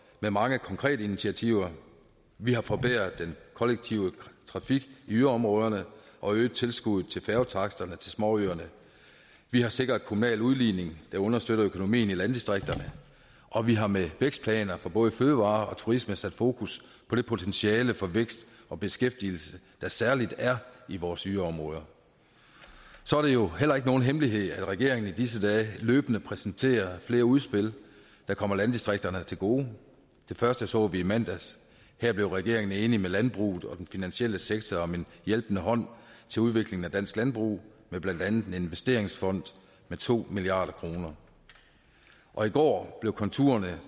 med mange konkrete initiativer vi har forbedret den kollektive trafik i yderområderne og øget tilskuddet til færgetaksterne til småøerne vi har sikret kommunal udligning der understøtter økonomien i landdistrikterne og vi har med vækstplaner for både fødevarer og turisme sat fokus på det potentiale for vækst og beskæftigelse der særlig er i vores yderområder så er det jo heller ikke nogen hemmelighed at regeringen i disse dage løbende præsenterer flere udspil der kommer landdistrikterne til gode det første så vi i mandags her blev regeringen enig med landbruget og den finansielle sektor om en hjælpende hånd til udvikling af dansk landbrug med blandt andet en investeringsfond på to milliard kroner og i går blev konturerne